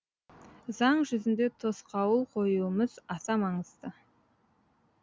заң жүзінде тосқауыл қоюымыз аса маңызды